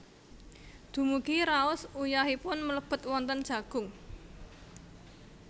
Dumugi raos uyahipun mlebet wonten jagung